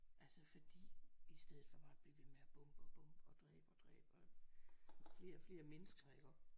Altså fordi i stedet for bare at blive ved med at bombe og bombe og dræbe og dræbe og flere og flere mennesker iggå